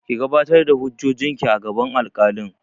Ki gabatar da hujjojin ki a gaban alkalin!